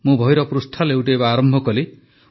ମୁଁ ବହିର ପୃଷ୍ଠା ଲେଉଟାଇବା ଆରମ୍ଭ କଲି